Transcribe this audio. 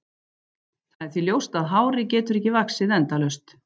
Það er því ljóst að hárið getur ekki vaxið endalaust.